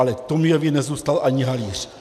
Ale Tomiovi nezůstal ani halíř.